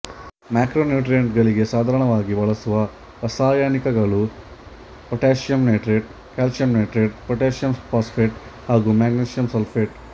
macronutrient ಗಳಿಗೆ ಸಾಧಾರಣವಾಗಿ ಬಳಸುವ ರಾಸಾಯನಿಕಗಳು potassium nitrate calcium nitrate potassium phosphate ಹಾಗು ಮೆಗ್ನಿಶಿಯಂ ಸಲ್ಫೇಟ್